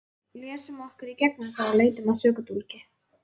Lesum okkur í gegnum það og leitum að sökudólgi.